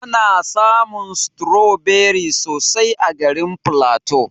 Ana samun stroberi sosai a garin flatu.